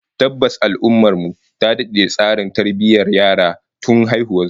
Tabbas, al'ummar mu ta dade da tsarin tarbiyyar yara tun haihuwar su